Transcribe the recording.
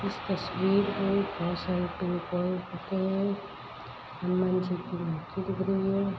इस तस्वीर में पेड़ पोधे लगे हैं हनुमान जी की मूर्ति दिख रही है।